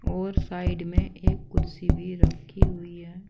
और साइड में एक कुर्सी भी रखी हुई है।